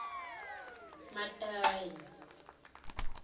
matayi